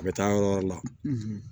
A bɛ taa yɔrɔ wɛrɛ la